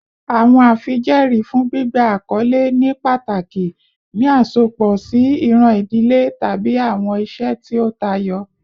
Awọn afijẹẹri fun gbigba akọle ni pataki ni asopọ si iran idile tabi awọn iṣe ti o tayọ